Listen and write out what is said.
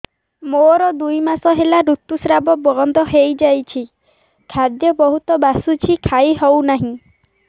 ମୋର ଦୁଇ ମାସ ହେଲା ଋତୁ ସ୍ରାବ ବନ୍ଦ ହେଇଯାଇଛି ଖାଦ୍ୟ ବହୁତ ବାସୁଛି ଖାଇ ହଉ ନାହିଁ